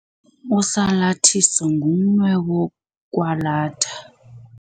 Usalathiso ngumnwe wokwalatha.